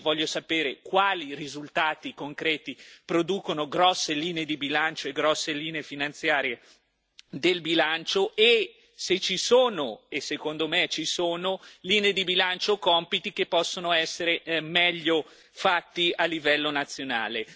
Io voglio sapere quali risultati concreti producono grosse linee di bilancio e grosse linee finanziarie del bilancio, e se ci sono e secondo me ci sono linee di bilancio o compiti che possono essere fatti meglio a livello nazionale.